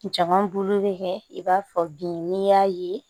Jama bolo bi kɛ i b'a fɔ bin n'i y'a ye